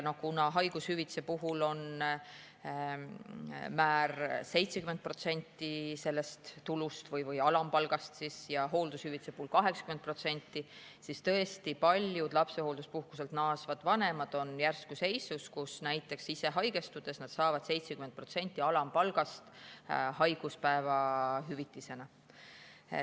Kuna haigushüvitise puhul on määr 70% sellest tulust või alampalgast ja hooldushüvitise puhul 80%, siis tõesti, paljud lapsehoolduspuhkuselt naasvad vanemad on järsku seisus, kus näiteks ise haigestudes saavad nad haiguspäeva hüvitisena 70% alampalgast.